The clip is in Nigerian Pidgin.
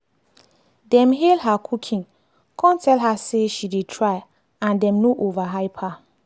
dem hail her cooking cum tell her say she dey try and dem no overhype her.